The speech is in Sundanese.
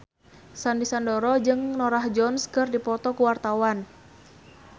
Sandy Sandoro jeung Norah Jones keur dipoto ku wartawan